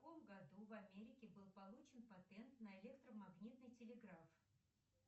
в каком году в америке был получен патент на электромагнитный телеграф